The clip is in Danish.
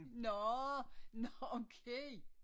Nårh nårh okay